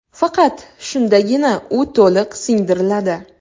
Faqat shundagina u to‘liq singdiriladi.